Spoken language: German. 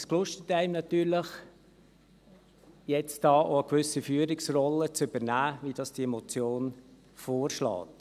Es reizt einen natürlich, da eine gewisse Führungsrolle zu übernehmen, wie es diese Motion vorschlägt.